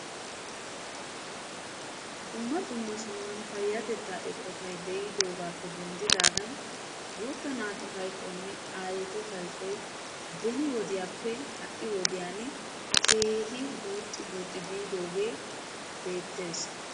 dumma dumma sohuwan payatettaa eqqottay de'idoogaappe denddidaagan guutta naatu hayqqoynne aayettu hayqqoy beni wodiyaappe ha'i wodiyan keehi guuxxi guuxxi biidoogee betees.